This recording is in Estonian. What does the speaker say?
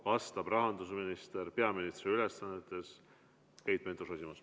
Vastab rahandusminister peaministri ülesannetes Keit Pentus-Rosimannus.